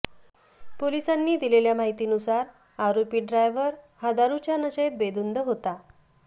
पोलिसांनी दिलेल्या माहितीनुसार आरोपी ड्रायव्हर हा दारूच्या नशेत बेधुंद होता